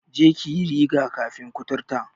Je ki yi riga-kafin kuturta!